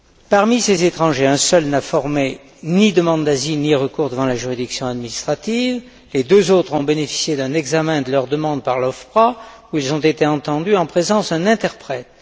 Parmi ces étrangers, un seul n'a formé ni demande d'asile ni recours devant la juridiction administrative, et deux autres ont bénéficié d'un examen de leur demande par l'OFPRA où ils ont été entendus en présence d'un interprète.